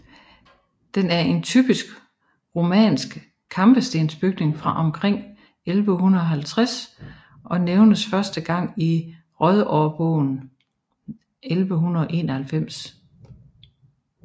Den er en typisk romansk kampestensbygning fra omkring 1150 og nævnes første gang i Rydårbogen 1191